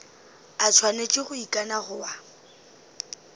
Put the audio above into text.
a swanetše go ikana goba